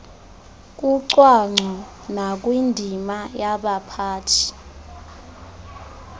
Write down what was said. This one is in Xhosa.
kucwangco nakwindima yabaphathi